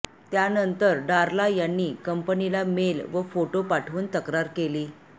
त्यानंतर डारला यांनी कंपनीला मेल व फोटो पाठवून तक्रार केली